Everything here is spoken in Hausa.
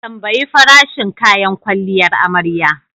Tambayi farashin kayan kwalliyar amarya.